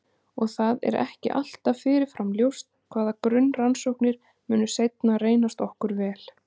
Og það er ekki alltaf fyrirfram ljóst hvaða grunnrannsóknir munu seinna reynast okkur vel.